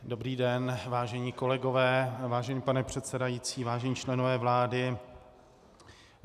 Dobrý den, vážení kolegové, vážený pane předsedající, vážení členové vlády.